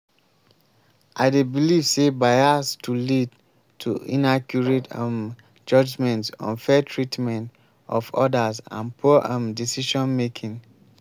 i dey believe say bias to lead to inaccurate um judgements unfair treatment of odas and poor um decision-making.